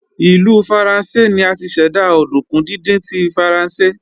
Ìlú Faransé ni a ti ṣẹ̀dá òdùnkún díndín tí Faransé